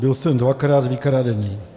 Byl jsem dvakrát vykradený.